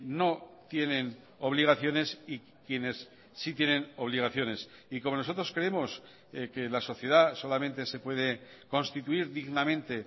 no tienen obligaciones y quienes sí tienen obligaciones y como nosotros creemos que la sociedad solamente se puede constituir dignamente